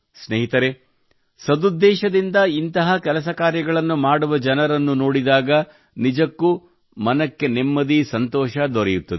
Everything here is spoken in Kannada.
ಸ್ನೇಹಿತರೇ ಸದುದ್ದೇಶದಿಂದ ಇಂತಹ ಕೆಲಸ ಕಾರ್ಯಗಳನ್ನು ಮಾಡುವ ಜನರನ್ನು ನೋಡಿದಾಗ ನಿಜಕ್ಕೂ ಮನಕ್ಕೆ ನೆಮ್ಮದಿ ಸಂತೋಷ ದೊರೆಯುತ್ತದೆ